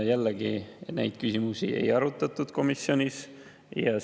Jällegi, neid küsimusi komisjonis ei arutatud.